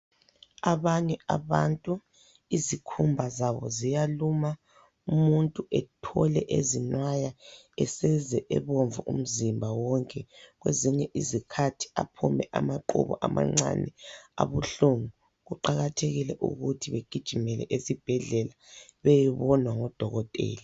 Abanye abantu izikhumba zabo ziyaluma, umuntu ethole ezinwaya eseze ebomvu umzimba wonke, kwezinye izikhathi aphume amaqubu amancane abuhlungu. Kuqakathekile ukuthi begijimele ezibhedlela beyebonwa ngodokotela.